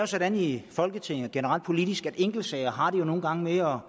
sådan i folketinget og generelt politisk at enkeltsager nogle gange har